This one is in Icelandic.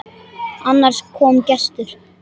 Annars kom gestur.